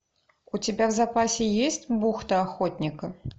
у тебя в запасе есть бухта охотника